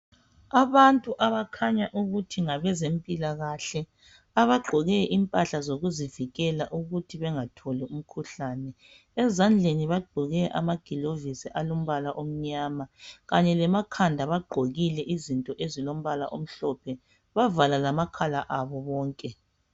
Abantu abakhanya ukuthi ngabezempilakahle, abagqoke impahla zokuzivikela ukuthi bangatholi umkhuhlane, ezandleni bagqoke amagilovisi alombala omnyama kanye lemakhanda bagqokile izinto ezilombala omhlophe bavala lamakhala abo bonke.